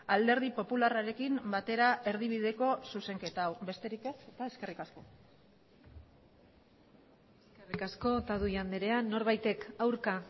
alderdi popularrarekin batera erdibideko zuzenketa hau besterik ez eta eskerrik asko eskerrik asko otadui andrea norbaitek aurka